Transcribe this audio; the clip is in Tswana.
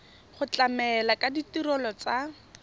go tlamela ka ditirelo tsa